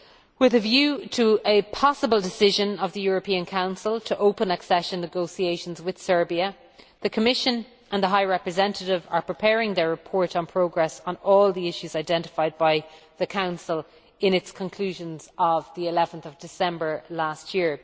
With a view to a possible decision of the European Council to open accession negotiations with Serbia, the Commission and the High Representative are preparing their report on progress on all the issues identified by the Council in its conclusions of 11 December last year.